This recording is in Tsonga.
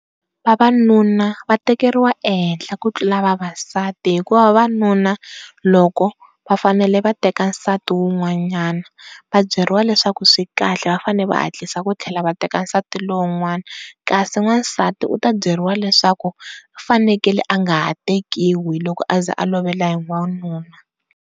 Vavanuna va tekeriwa ehehla ku tlula vavasati hikuva vavanuna loko va fanele va teka nsati wun'wanyana va byeriwa leswaku kahle va fanele va hatlisa ku tlheaa va teka nsati lowun'wani, kasi n'wansati u ta byeriwa leswaku u fanekele a nga ha tekiwi loko aze a loveriwa hi wanuna.